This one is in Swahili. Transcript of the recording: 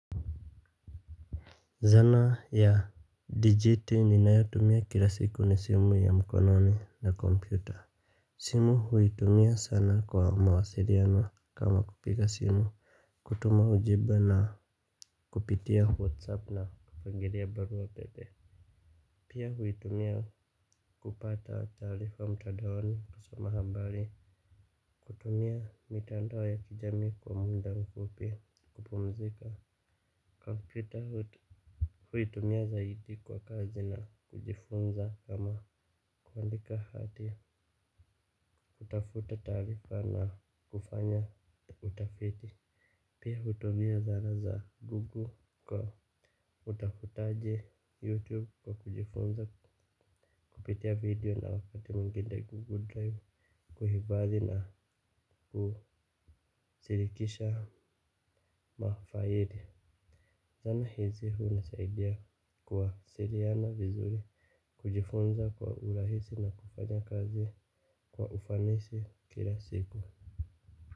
Zana ya digiti ninayotumia kila siku ni simu ya mkononi na kompyuta. Simu huitumia sana kwa mawasiliano kama kupiga simu. Kutuma ujumbe na kupitia whatsapp na kufangiria barua pepe. Pia huitumia kupata taarifa mtandaoni kuso mahabari. Kutumia mitandao ya kijamii kwa muda mfupi kupumzika. Kompyuta hui tumia zaidi kwa kazi na kujifunza kama kuandika hati kutafuta taarifa na kufanya utafiti. Pia uhumia zara za Google kwa utafutaji youtube kwa kujifunza kupitia video na wakati mwingine Google drive kuhifadhi na kushirikisha mafaidi. Zana hizi huu nisaidia kuwa siliana vizuri. Kujifunza kwa urahisi na kufanya kazi kwa ufanisi kila siku.